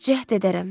Cəhd edərəm.